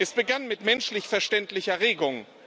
Es begann mit menschlich verständlicher Regung.